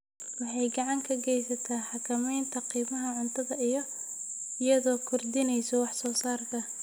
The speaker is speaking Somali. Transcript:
Waxay gacan ka geysataa xakamaynta qiimaha cuntada iyadoo kordhinaysa wax soo saarka.